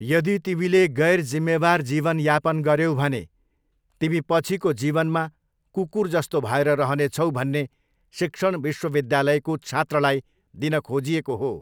यदि तिमीले गैरजिम्मेवार जीवन यापन गर्यौ भने तिमी पछिको जीवनमा कुकुर जस्तो भएर रहने छौ भन्ने शिक्षण विश्वविद्यालयको छात्रलाई दिन खोजिएको हो।